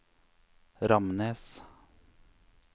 Ramnes